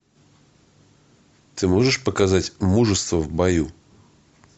ты можешь показать мужество в бою